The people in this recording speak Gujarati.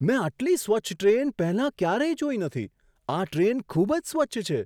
મેં આટલી સ્વચ્છ ટ્રેન પહેલાં ક્યારેય જોઈ નથી! આ ટ્રેન ખૂબ જ સ્વચ્છ છે!